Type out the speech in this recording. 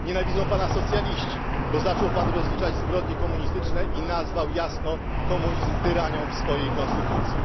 Nienawidzą Pana socjaliści, bo zaczął Pan rozliczać zbrodnie komunistyczne i nazwał jasno komunizm tyranią w swojej konstytucji.